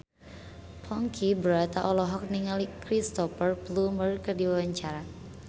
Ponky Brata olohok ningali Cristhoper Plumer keur diwawancara